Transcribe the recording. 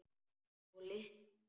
Og lyktin.